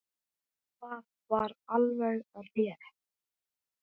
Það var alveg rétt.